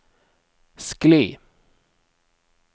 skli